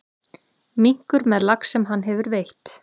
Minkur með lax sem hann hefur veitt.